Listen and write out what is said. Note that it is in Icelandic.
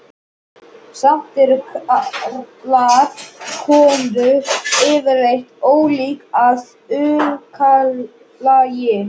Samt eru karlar og konur yfirleitt ólík að upplagi.